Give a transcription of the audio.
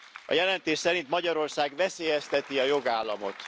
A jelentés szerint Magyarország veszélyezteti a jogállamot.